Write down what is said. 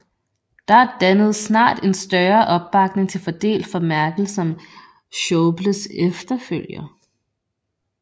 Der dannedes snart en større opbakning til fordel for Merkel som Schäubles efterfølger